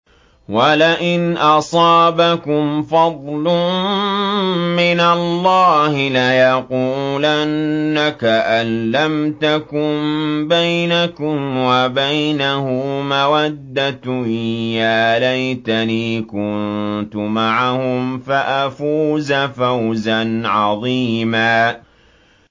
وَلَئِنْ أَصَابَكُمْ فَضْلٌ مِّنَ اللَّهِ لَيَقُولَنَّ كَأَن لَّمْ تَكُن بَيْنَكُمْ وَبَيْنَهُ مَوَدَّةٌ يَا لَيْتَنِي كُنتُ مَعَهُمْ فَأَفُوزَ فَوْزًا عَظِيمًا